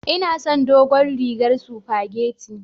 Inason dogon rigar sufageti.